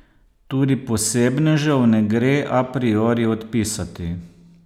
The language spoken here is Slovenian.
Tudi posebnežev ne gre a priori odpisati.